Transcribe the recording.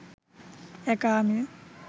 একা আমি